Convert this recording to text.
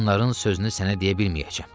onların sözünü sənə deyə bilməyəcəm.